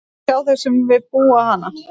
Það sjá þeir sem við hana búa.